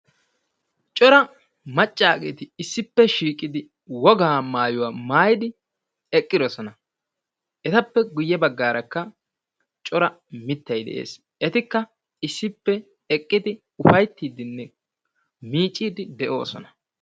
Cora macaageeti issippe shiiqidi wogaa maayuwaa maayidi eqqidosona. Etappe guye bagaarakka cora mitay de'ees. Etikka issippe eqqidi uffaytiidinne miiciidi de'oososna.